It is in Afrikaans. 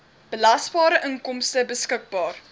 belasbare inkomste beskikbaar